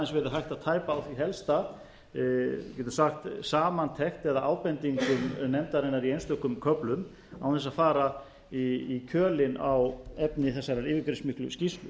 að tæpa á því helsta við getum sagt samantekt eða ábendingum nefndarinnar í einstökum köflum án þess að fara í kjölinn á efni þessarar yfirgripsmiklu skýrslu